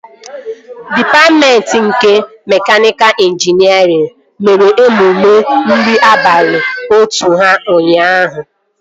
Dịpatmentị nke mekaniika ịnjinierịn mere emume nri abalị otu ha ụnyaahụ